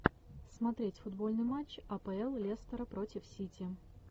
смотреть футбольный матч апл лестера против сити